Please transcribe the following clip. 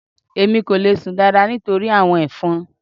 Èmi kò le sùn dáadáa nítorí àwọn ẹ̀fọn.